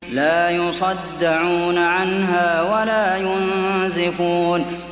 لَّا يُصَدَّعُونَ عَنْهَا وَلَا يُنزِفُونَ